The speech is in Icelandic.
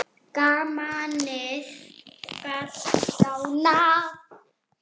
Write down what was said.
Gamanið gat gránað.